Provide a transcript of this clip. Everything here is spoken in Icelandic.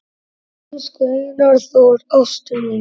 Elsku Einar Þór, ástin mín